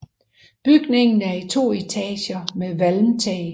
Bygningen er i to etager med valmtag